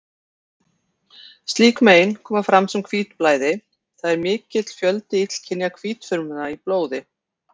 Slík mein koma fram sem hvítblæði, það er mikill fjöldi illkynja hvítfrumna í blóði.